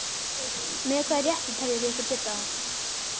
Með hvaða rétti teljið þið ykkur geta það?